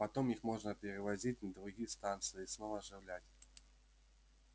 потом их можно перевозить на другие станции и снова оживлять